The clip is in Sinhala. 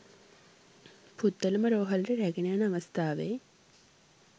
පුත්තලම රෝහලට රැගෙන යන අවස්ථාවේ